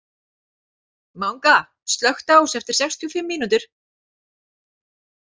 Manga, slökktu á þessu eftir sextíu og fimm mínútur.